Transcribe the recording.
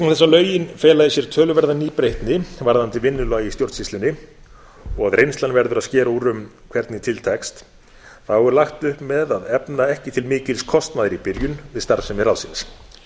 lögin fela í sér töluverða nýbreytni varðandi vinnulag í stjórnsýslunni og að reynslan verður að skera úr um hvernig til tekst er lagt upp með að efna ekki til mikils kostnaðar í byrjun við starfsemi ráðsins